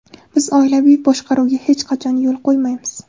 Biz oilaviy boshqaruvga hech qachon yo‘l qo‘ymaymiz!